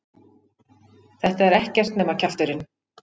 Þetta er ekkert nema kjafturinn!